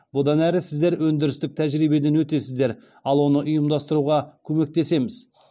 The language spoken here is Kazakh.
бұдан әрі сіздер өндірістік тәжірибеден өтесіздер ал оны ұйымдастыруға көмектесеміз